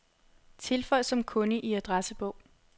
Tilføj som kunde i adressebog.